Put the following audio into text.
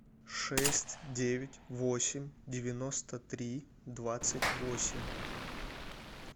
шесть девять восемь девяносто три двадцать восемь